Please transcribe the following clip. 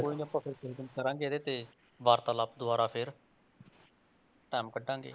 ਕੋਈ ਨੀ ਆਪਾਂ ਫਿਰ ਕਿਸੇ ਦਿਨ ਕਰਾਂਗੇ ਇਹਦੇ ਤੇ ਵਾਰਤਲਾਪ ਦੁਬਾਰਾ ਫਿਰ time ਕੱਢਾਂਗੇ।